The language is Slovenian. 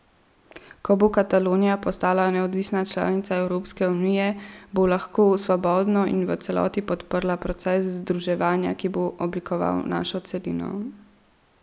Ko bo Katalonija postala neodvisna članica Evropske unije, bo lahko svobodno in v celoti podprla proces združevanja, ki bo oblikoval našo celino.